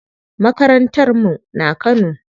Makarantar mu na Kano.